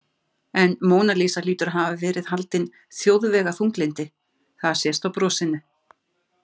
En Móna Lísa hlýtur að hafa verið haldin þjóðvegaþunglyndi, það sést á brosinu.